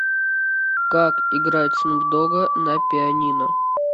как играть снуп дога на пианино